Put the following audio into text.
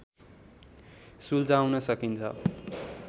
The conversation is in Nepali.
सुल्झाउन सकिन्छ